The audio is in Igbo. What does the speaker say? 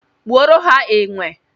Gbuoro ha enwe